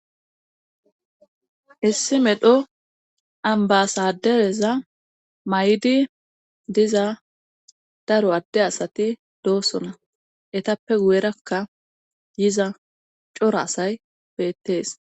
issi medho ambasadereza may7di diza daro adde asati doossona etappe guyerakka yiza cora asay beettees